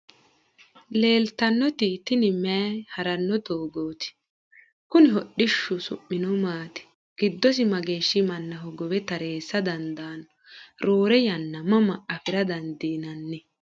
leellitannoti tini mayi harranno doggooti? kunnihu hodhishu su'mino maati? giddosi mageeshi manna hogowe tarreessa dandaanno? roore yanna mama afira dandiinanni?